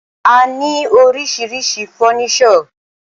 A ní oríṣiríṣi fọ́nísọ̀.